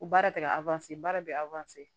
Ko baara tɛ ka baara bɛ